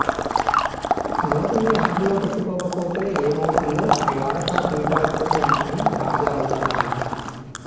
నోటిని అదుపులో పెట్టుకోకపోతే ఏమి అవుతుందో ద్వారకా పీఠాధిపతి అంశమే తాజా ఉదాహరణ